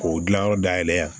K'o dilanyɔrɔ dayɛlɛ yan